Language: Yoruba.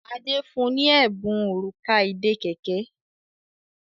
Ade fún ní Ẹbùn Òrùka ìdè kẹ̀kẹ́.